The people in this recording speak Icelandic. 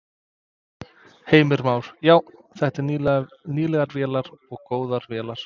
Heimir Már: Já, þetta eru nýlegar vélar og góðar vélar?